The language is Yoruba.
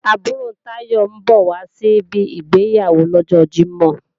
Àbúrò Táyọ̀ ń bọ̀ wá síbi ìgbéyàwó lọ́jọ Jímọ̀